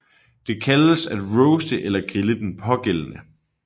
Det kaldes at roaste eller grille den pågældende